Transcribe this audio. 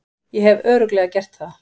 Ég hef Örugglega gert það.